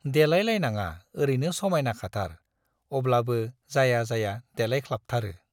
देलाय लायनाङा ओरैनो समाइना खाथार, अब्लाबो जाया जाया देलायख्लाबथारो।